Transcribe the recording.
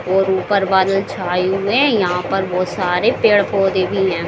और ऊपर बादल छाए हुए हैं यहाँ पर बहुत सारे पेड़-पौधे भी हैं।